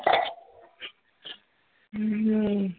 ਹਮ